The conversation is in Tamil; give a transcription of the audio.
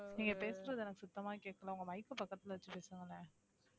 நீங்க பேசுறது எனக்கு சுத்தமா கேட்கலை உங்க mike க்க பக்கத்துல வச்சு பேசுங்களே